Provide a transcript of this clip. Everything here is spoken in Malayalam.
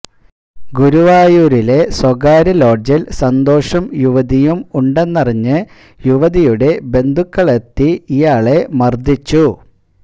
ഗുരുവായൂരിലെ സ്വകാര്യ ലോഡ്ജില് സന്തോഷും യുവതിയും ഉണ്ടെന്നറിഞ്ഞ് യുവതിയുടെ ബന്ധുക്കള് എത്തി ഇയാളെ മര്ദ്ദിച്ചു